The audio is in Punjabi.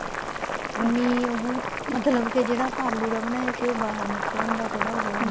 ਉਨੀ ਉਹ ਮਤਲਬ ਕੀ ਜਿਹੜਾ ਆਪਾਂ ਆਲੂ ਦਾ ਬਣਾਇਆ ਸੀ ਉਹ ਬਾਹਰ ਨਿਕਲਣ ਦਾ ਥੋੜਾ ਉਹ